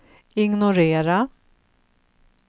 ignorera